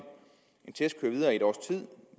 en test køre videre i et års tid